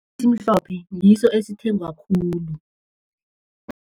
Esimhlophe, ngiso esithengwa khulu.